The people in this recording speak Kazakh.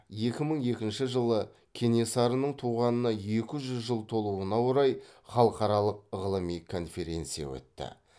екі мың екінші жылы кенесарының туғанына екі жүз жыл толуына орай халықаралық ғылыми конференция өтті